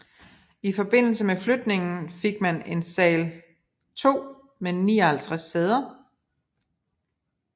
I forbindelse med flytningen fik man en sal 2 med 59 sæder